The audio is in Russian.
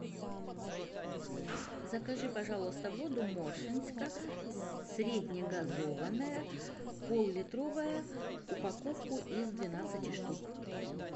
закажи пожалуйста воду моршинска среднегазованная поллитровая упаковку из двенадцати штук